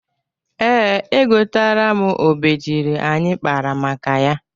Ee, egoteela m obejiri anyị kpara maka ya.